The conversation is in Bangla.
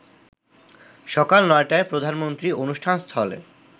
সকাল ৯টায় প্রধানমন্ত্রী অনুষ্ঠানস্থলে